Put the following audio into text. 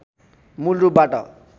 मूल रूपबाट